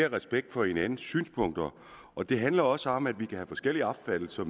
respekt for hinandens synspunkter og det handler også om at vi kan have forskellige opfattelser